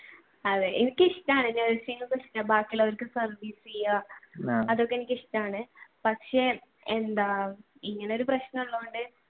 അതെ എനിക്കിഷ്ടമാണ് nursing ഒക്കെ ഇഷ്ടമാണ് ബാക്കിയുള്ളവർക്ക് service ചെയുക അതൊക്കെ എനിക്ക് ഇഷ്ടമാണ് പക്ഷെ എന്താ ഇങ്ങനെയൊരു പ്രശനമുള്ളതുകൊണ്ടു